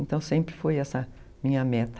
Então, sempre foi essa minha meta.